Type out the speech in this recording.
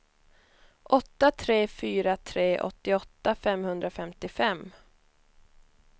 åtta tre fyra tre åttioåtta femhundrafemtiofem